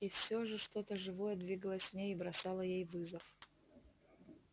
и всё же что то живое двигалось в ней и бросало ей вызов